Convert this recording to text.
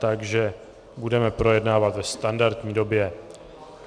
Takže budeme projednávat ve standardní době.